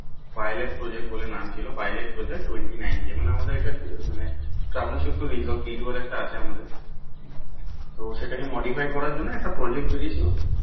Pilot project বলে নাম ছিল Pilot project twenty nine k মানে আমাদের একটা মানে আছে আমাদের তো সেটাকে modify করার জন্য একটা project বেরিয়ে ছিল